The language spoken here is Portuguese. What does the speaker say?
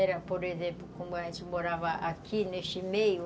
Era, por exemplo, como a gente morava aqui, neste meio.